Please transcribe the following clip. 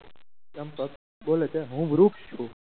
ચંપક બોલે છે હું વૃક્ષ છું